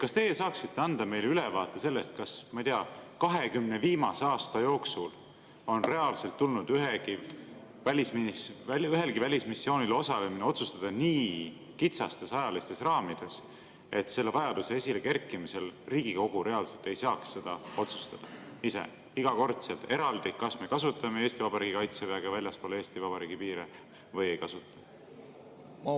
Kas teie saaksite anda meile ülevaate sellest, kas, ma ei tea, 20 viimase aasta jooksul on reaalselt tulnud ühelgi välismissioonil osalemine otsustada nii kitsastes ajalistes raamides, et selle vajaduse esile kerkimisel Riigikogu reaalselt ei saaks otsustada ise, iga kord eraldi, kas me kasutame Eesti Vabariigi Kaitseväge väljaspool Eesti Vabariigi piire või ei kasuta?